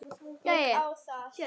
Ég á það.